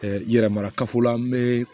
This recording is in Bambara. yɛrɛ mara kafo la an be